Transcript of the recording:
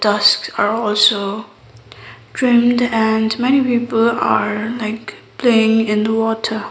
tusks are also trimmed and many people are like playing in the water.